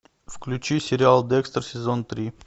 включи сериал декстер сезон три